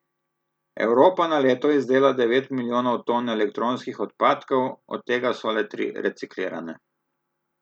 Evropa na leto izdela devet milijonov ton elektronskih odpadkov, od tega so le tri reciklirane.